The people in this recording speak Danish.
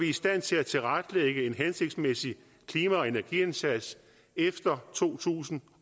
i stand til at tilrettelægge en hensigtsmæssig klima og energindsats efter to tusind